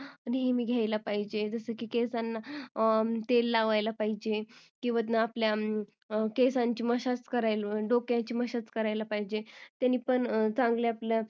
नेहमी घ्यायला पाहिजेल जस की केसांना तेल लावायला पाहिजेल किंवा आपल्या केसांची massage करायला डोक्याची massage करायला पाहिजेल त्याने पण चांगल्या आपल्या